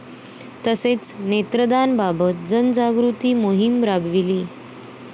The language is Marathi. तसेच नेत्रदानबाबत जनजागृती मोहीम राबविली.